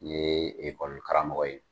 N ɲe ekɔlikaramɔgɔ ye.